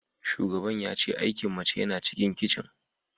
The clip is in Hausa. Shugaban ya ce aikin mace yana cikin kicin